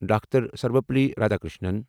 doctor Sarvepalli Radhakrishnan